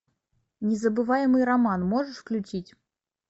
незабываемый роман можешь включить